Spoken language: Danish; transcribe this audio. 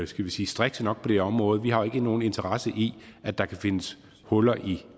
skal vi sige strikse nok på det område vi har jo ikke nogen interesse i at der kan findes huller i